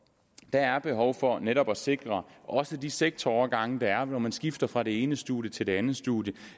der er behov for netop at sikre også de sektorovergange der er når man skifter fra det ene studium til det andet studium